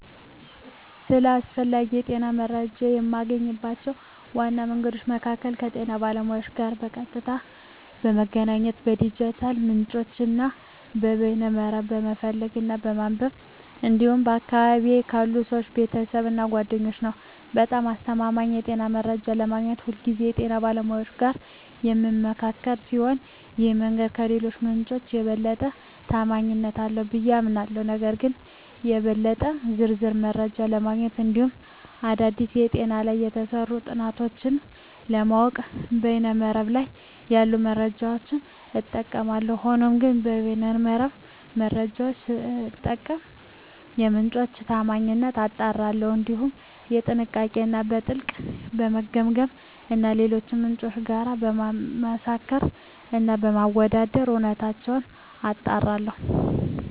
ስለ አስፈላጊ የጤና መረጃን የማገኝባቸው ዋና መንገዶች መካከል ከጤና ባለሙያዎች ጋር በቀጥታ በመገናኘት፣ ከዲጂታል ምንጮች እና ከበይነ መረብ በመፈለግ እና በማንበብ እንዲሁም በአካባቢየ ካሉ ሰወች፣ ቤተሰብ እና ጓደኛ ነዉ። በጣም አስተማማኝ የጤና መረጃ ለማግኘት ሁልጊዜ ከጤና ባለሙያዎች ጋር በምመካከር ሲሆን ይህ መንገድ ከሌሎቹ ምንጮች የበለጠ ተአማኒነት አለው ብየ አምናለሁ። ነገር ግን ለበለጠ ዝርዝር መረጃ ለማግኘት እንዲሁም አዳዲስ በጤና ላይ የተሰሩ ጥናቶችን ለማወቅ በይነ መረብ ላይ ያሉ መረጃዎችን እጠቀማለሁ። ሆኖም ግን የበይነ መረብ መረጃወቹን ስጠቀም የምንጮቹን ታአማኒነት አጣራለሁ፣ እንዲሁም በጥንቃቄ እና በጥልቀት በመገምገም እና ከሌሎች ምንጮች ጋር በማመሳከር እና በማወዳደር እውነተኝነታቸውን አጣራለሁ።